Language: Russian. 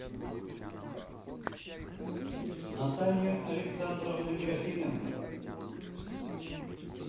наталья александровна герасименко